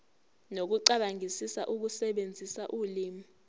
nokucabangisisa ukusebenzisa ulimi